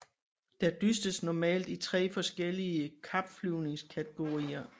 Der dystes normalt i tre forskellige kapflyvningskategorier